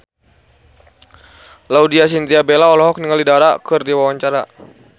Laudya Chintya Bella olohok ningali Dara keur diwawancara